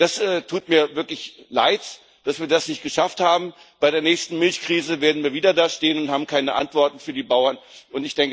ES tut mir wirklich leid, dass wir das nicht geschafft haben. Bei der nächsten Milchkrise werden wir wieder da stehen und keine Antworten für die Bauern